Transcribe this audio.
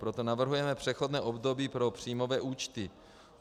Proto navrhujeme přechodné období pro příjmové účty.